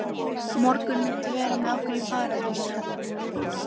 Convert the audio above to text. Á morgun muntu vera með okkur í Paradís.